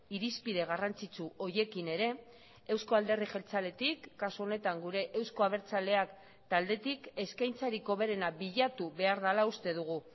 irizpide garrantzitsu horiekin ere eusko alderdi jeltzaletik kasu honetan gure euzko abertzaleak taldetik eskaintzarik hoberena bilatu behar dela uste dugu